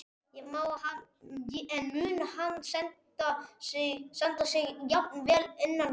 En mun hann standa sig jafn vel innan vallar?